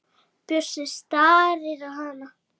Bjössi starir á hana.